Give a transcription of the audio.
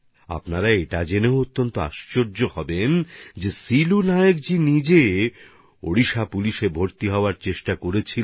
আপনারা এটা জেনেও অবাক হবেন যে সিলু নায়কজি স্বয়ং ওড়িশা পুলিশে ভর্তি হওয়ার চেষ্টা করেছিলেন